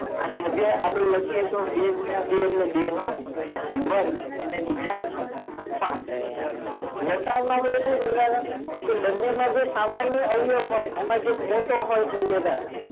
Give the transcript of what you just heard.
અને હજી એ આગળ લખીએ તો બે ગુણીય બે એટલે બે નો વર્ગ ને ગુણીય પાંચ લસાઅ માટે સુ કરતાં તા જે સામાન્ય અવયવ હોય એમ જે મોટો અવયવ હોય ઈ લેતા તા